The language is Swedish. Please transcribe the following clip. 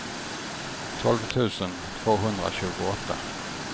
tolv tusen tvåhundratjugoåtta